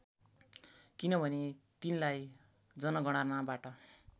किनभने तिनलाई जनगणनाबाट